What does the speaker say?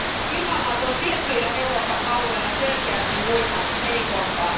Ilmanlaatu on tietyillä Euroopan alueilla selkeästi muita heikompaa.